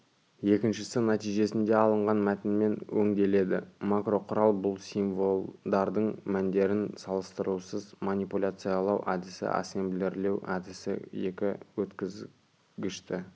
екіншісі нәтижесінде алынған мәтінмен өңделеді макроқұрал бұл символдардың мәндерін салыстырусыз манипуляциялау әдісі ассемблерлеу әдісі екі өткізгішті